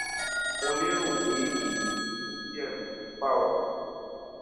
mo lérò pé èyí ti mú kí ẹrù tó ń bà ọ kúrò